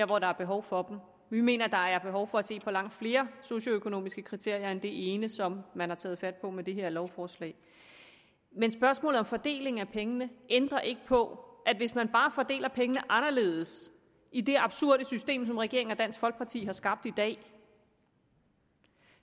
hvor der er behov for dem vi mener der er behov for at se på langt flere socioøkonomiske kriterier end det ene som man har taget fat på med det her lovforslag men spørgsmålet om fordelingen af pengene ændrer ikke på at konsekvensen hvis man bare fordeler pengene anderledes i det absurde system som regeringen og dansk folkeparti har skabt i dag